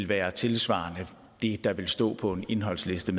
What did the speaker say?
være tilsvarende det der vil stå på en indholdsliste